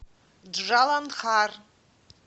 джаландхар